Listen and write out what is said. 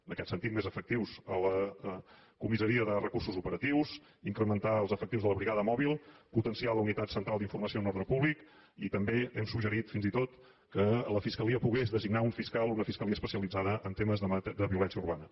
en aquest sentit més efectius a la comissaria de recursos operatius incrementar els efectius de la brigada mòbil potenciar la unitat central d’informació en ordre públic i també hem suggerit fins i tot que la fiscalia pogués designar un fiscal o una fiscalia especialitzada en temes de violència urbana